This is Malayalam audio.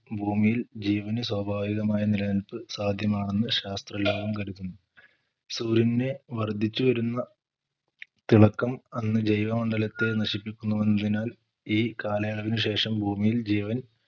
ഭൂമിയിൽ ജീവന് സ്വഭാവികമായ നിലനിൽപ്പ് സാധ്യമാണെന്ന് ശാസ്ത്ര ലോകം കരുതുന്നു സൂര്യന് വർധിച്ചു വരുന്ന തിളക്കം അന്ന് ജൈവ മണ്ഡലത്തെ നശിപ്പിക്കുന്നു എന്നതിനാൽ ഈ കാലയളവിന് ശേഷം ഭൂമിയിൽ ജീവൻ